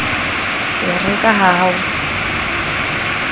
e re ka ha ho